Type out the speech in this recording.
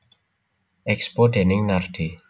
Expo déning Nardi